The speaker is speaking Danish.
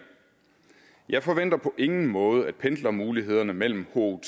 jeg forventer på ingen måde at pendlermulighederne mellem